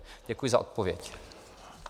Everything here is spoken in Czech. Děkuji za odpověď.